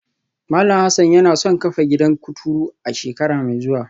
Malam Hassan yana son kafa gidan kuturu a shekara mai zuwa